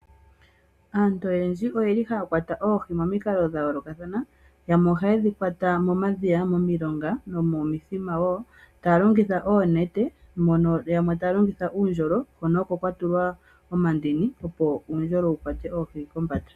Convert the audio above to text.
Aantu oyendji oye li haya kwata oohi momikalo dha yoolokathana. Yamwe ohaye dhi kwata momadhiya, momilonga momithima wo taya longitha oonete, uundjolo hono kwatulwa omandini opo uundjolo wu kwate oohi.